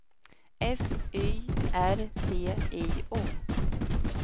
F Y R T I O